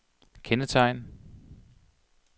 kendetegn